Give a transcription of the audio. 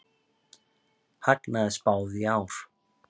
Hagnaði spáð í ár